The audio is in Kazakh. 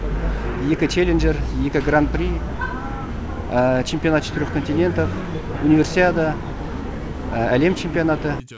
екі челленджер екі гран при чемпионат четырех континентов универсиада әлем чемпионаты